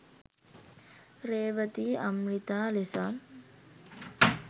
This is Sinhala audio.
රේවතී අම්රිතා ලෙසත්